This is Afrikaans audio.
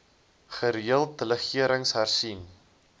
gereeld delegerings hersien